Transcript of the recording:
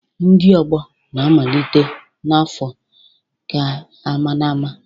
Ndi ogbo na-amalite na afọ keamaaama